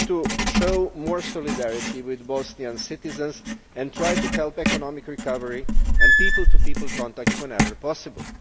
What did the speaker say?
We need to show more solidarity with Bosnian citizens and try to help economic recovery and people to people contacts whenever possible.